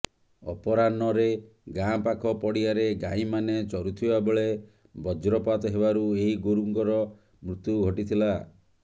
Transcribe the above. ଅପରାହ୍ନରେ ଗାଁ ପାଖ ପଡ଼ିଆରେ ଗାଈମାନେ ଚରୁଥିବା ବେଳେ ବଜ୍ରପାତ ହେବାରୁ ଏହି ଗୋରୁଙ୍କର ମୃତ୍ୟୁ ଘଟିଥିଲା